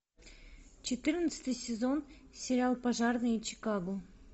четырнадцатый сезон сериал пожарные чикаго